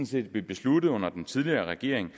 set blev besluttet under den tidligere regering